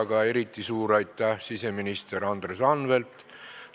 Aga eriti suur aitäh siseminister Andres Anveltile!